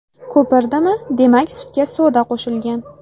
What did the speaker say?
Ko‘pirdimi, demak sutga soda qo‘shilgan.